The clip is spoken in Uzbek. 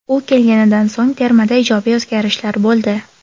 U kelganidan so‘ng, termada ijobiy o‘zgarishlar bo‘ldi.